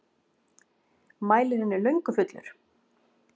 Mælirinn er löngu fullur.